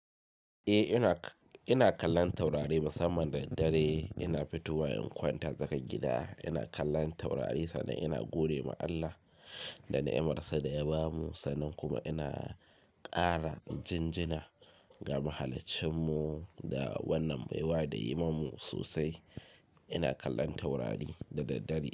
Eh ina, ina kallon taurari musamman da dare ina fitowa in kwanta tsakar gida ina kallon taurari sannan ina gode ma Allah da ni'amar sa da ya bamu sannan kuma ina kara jinjina ga mahalacin mu da wannan baiwa da yayimamu sosai. Ina kallon taurari da daddare.